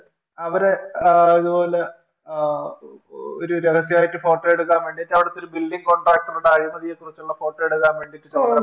അവരെ ആ ഇതുപോലെ ആ ഒരു രഹസ്യായിട്ട്‌ ഫോട്ടോ എടുക്കാൻവേണ്ടിട്ടു അവിടുത്തെ ഒരു Building contractor ടെ അഴിമതിയെക്കുറിച്ചുള്ള Photo എടുക്കാൻ വേണ്ടിട്ടു ചുമതലപ്പെടുത്തുന്നു